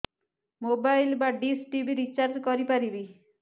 mobile ବା dish TV recharge କରି ପାରିବି